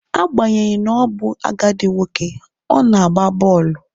Agbanyeghi na ọ bụ agadi nwoke, ọ na-agba bọọlụ